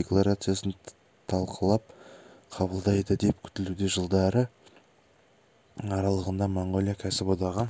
декларациясын талқылап қабылдайды деп күтілуде жылдары аралығында моңғолия кәсіподағы